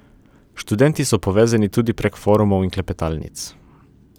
Študenti so povezani tudi prek forumov in klepetalnic.